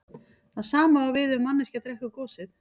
Það sama á við ef manneskja drekkur gosið.